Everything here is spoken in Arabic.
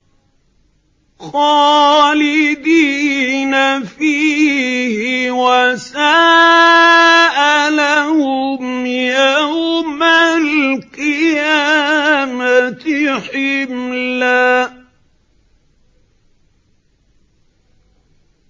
خَالِدِينَ فِيهِ ۖ وَسَاءَ لَهُمْ يَوْمَ الْقِيَامَةِ حِمْلًا